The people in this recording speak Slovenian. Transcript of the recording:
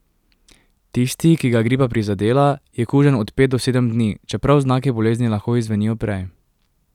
Tisti, ki ga je gripa prizadela, je kužen od pet do sedem dni, čeprav znaki bolezni lahko izzvenijo prej.